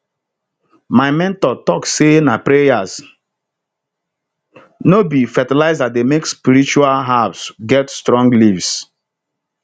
my mentor talk say na prayers no be fertilizer dey make spiritual herbs get strong leaves